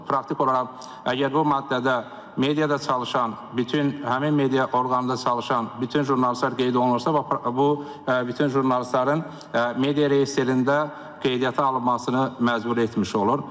Praktik olaraq, əgər bu maddədə mediada çalışan bütün həmin media orqanında çalışan bütün jurnalistlər qeyd olunursa, bu bütün jurnalistlərin media reyestrində qeydiyyata alınmasını məcbur etmiş olur.